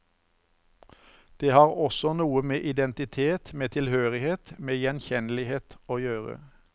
Det har også noe med identitet, med tilhørighet, med gjenkjennelighet, å gjøre.